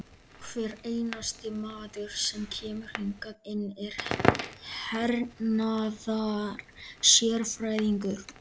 Hver einasti maður sem kemur hingað inn er hernaðarsérfræðingur!